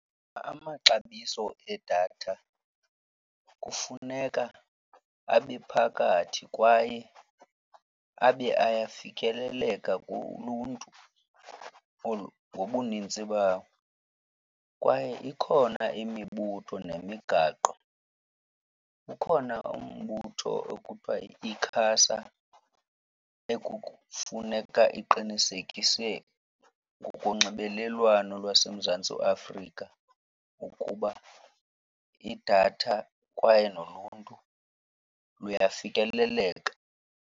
Amaxabiso edatha kufuneka abe phakathi kwaye abe ayafikeleleka kuluntu ngobuninzi bawo. Kwaye ikhona imibutho nemigaqo. Ukhona umbutho okuthwa yi-ICASA ekufuneka iqinisekise ngokunxibelelwano lwaseMzantsi Afrika ukuba idatha kwaye noluntu luyafikeleleka.